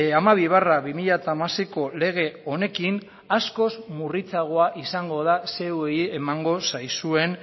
hamabi barra bi mila hamaseiko lege honekin askoz murritzagoa izango da zeuei emango zaizuen